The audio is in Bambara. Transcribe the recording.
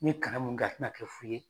N ye kalan mun kɛ a tɛna kɛ fu ye.